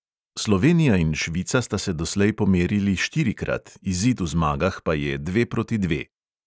Slovenija in švica sta se doslej pomerili štirikrat, izid v zmagah pa je dve proti dve.